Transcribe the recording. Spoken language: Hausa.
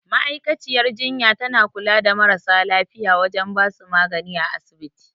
Ma'aikaciyar jinya tana kula da marasa lafiya wajen basu magani a asibiti